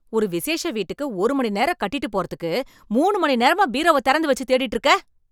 ஒரு விஷேஷ வீட்டுக்கு ஒரு மணி நேரம் கட்டிட்டுப் போறதுக்கு மூணு மணி நேரமா பீரோவ திறந்து வச்சு தேடிட்டு இருக்க.